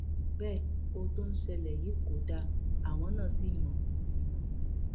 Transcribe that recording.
bẹẹ ohun tó ń ṣẹlẹ yìí kò dáa àwọn náà sí mọ mọ